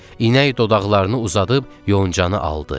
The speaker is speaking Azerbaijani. İnək dodaqlarını uzadıb yoncanı aldı.